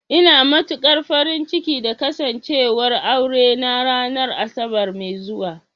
Ina matukar farin ciki da Kasancewar aurena ranar Asabar mai zuwa